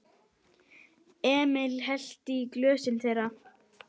Emil hellti í glösin þeirra.